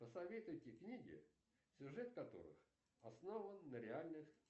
посоветуйте книги сюжет которых основан на реальных